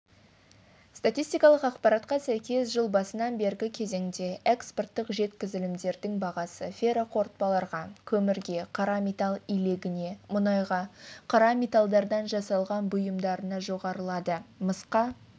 статақпарға сәйкес жыл басынан бергі кезеңде экспорттық жеткізілімдердің бағасы ферроқорытпаларға көмірге қара метал илегіне мұнайға қара металдардан жасалған бұйымдарына жоғарылады мысқа